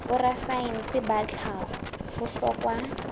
borasaense ba tlhaho ho hlokwa